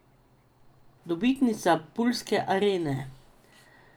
Dobitnica pulske arene.